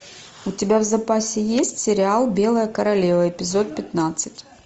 у тебя в запасе есть сериал белая королева эпизод пятнадцать